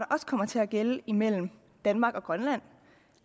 også kommer til at gælde imellem danmark og grønland